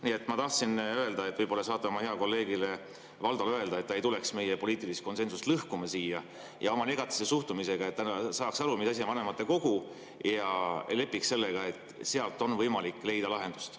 Nii et ma tahtsin öelda, et võib-olla saate oma heale kolleegile Valdole öelda, et ta ei tuleks siia meie poliitilist konsensust lõhkuma oma negatiivse suhtumisega, et ta saaks aru, mis asi on vanematekogu, ja lepiks sellega, et seal on võimalik leida lahendust.